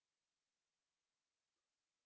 हमसे जुडने के लिए धन्यवाद